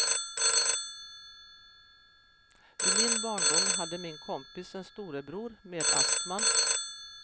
I min barndom hade min kompis en storebror med astma.